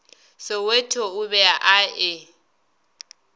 soweto o be a e